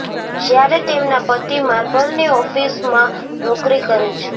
જ્યારે તેમના પતિ માર્બલની ઓફિસમાં નોકરી કરે છે